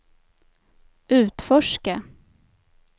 utforska